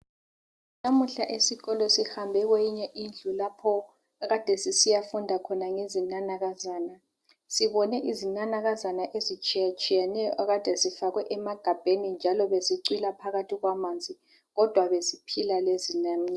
Namuhla esikolo sihambe kweyinye indlu lapho ekade sisiyafunda khona ngezinanakazana. Sibone izinanakazana ezitshiyetshiyeneyo ekade zifakwe emagabheni njalo bezicwila phakathi kwamanzi kodwa beziphila lezi.